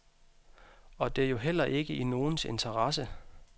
Og det er jo heller ikke i nogens interesse.